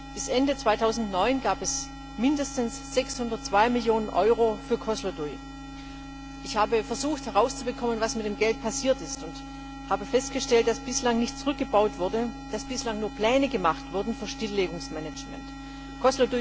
Bis Ende 2009 gab es mindestens 602 Millionen Euro für Kosloduj. Ich habe versucht herauszubekommen, was mit dem Geld passiert ist, und habe festgestellt, dass bislang nichts rückgebaut wurde, sondern dass bislang nur Pläne für das Stilllegungsmanagement gemacht wurden.